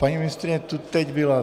Paní ministryně tu teď byla.